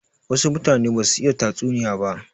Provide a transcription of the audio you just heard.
Wasu mutane ba su iya tatsuniya ba.